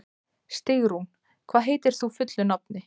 Stígrún, hvað heitir þú fullu nafni?